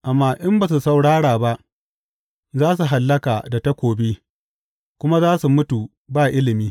Amma in ba su saurara ba, za su hallaka da takobi kuma za su mutu ba ilimi.